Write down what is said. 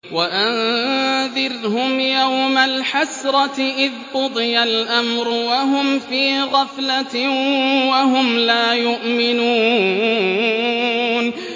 وَأَنذِرْهُمْ يَوْمَ الْحَسْرَةِ إِذْ قُضِيَ الْأَمْرُ وَهُمْ فِي غَفْلَةٍ وَهُمْ لَا يُؤْمِنُونَ